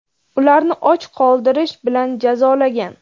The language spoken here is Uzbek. ularni och qoldirish bilan jazolagan.